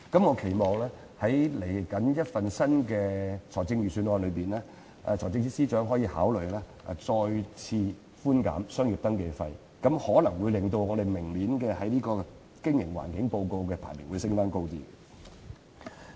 我期望在即將發表的新一份財政預算案，財政司司長可以考慮再次寬免商業登記費，此舉可能會令我們在明年的營商環境報告的排名上升少許。